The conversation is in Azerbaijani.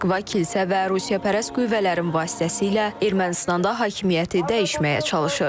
Moskva kilsə və ruspərəst qüvvələrin vasitəsilə Ermənistanda hakimiyyəti dəyişməyə çalışır.